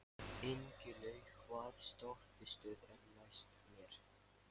Ingilaug, hvaða stoppistöð er næst mér?